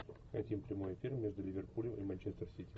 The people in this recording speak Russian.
хотим прямой эфир между ливерпулем и манчестер сити